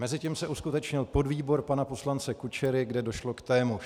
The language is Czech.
Mezitím se uskutečnil podvýbor pana poslance Kučery, kde došlo k témuž.